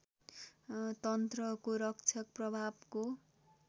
तन्त्रको रक्षक प्रभावको